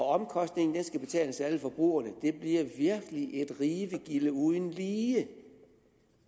omkostningerne skal betales af alle forbrugerne det bliver virkelig et rivegilde uden lige